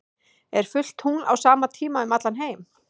er fullt tungl á sama tíma um allan heim